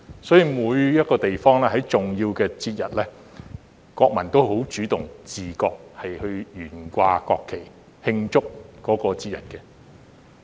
所以，每個地方在重要節日，國民也十分主動和自覺地懸掛國旗來慶祝。